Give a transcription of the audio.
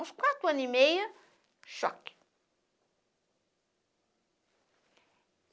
Uns quatro anos e meio, choque.